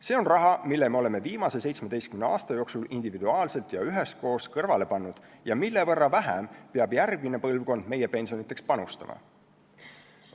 See on raha, mille me oleme viimase 17 aasta jooksul individuaalselt ja üheskoos kõrvale pannud ning mille võrra vähem peab järgmine põlvkond meie pensionideks panustama.